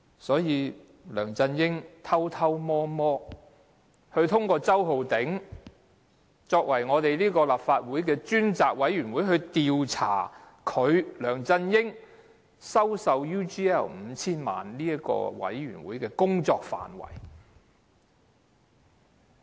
因此，梁振英偷偷摸摸，通過周浩鼎議員修改立法會調查他收受 UGL 5,000 萬元的事宜的專責委員會的調查範圍。